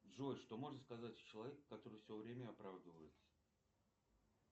джой что можно сказать о человеке который все время оправдывается